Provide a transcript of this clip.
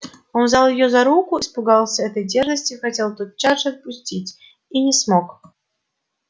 он взял её за руку испугался этой дерзости хотел тотчас же отпустить и не смог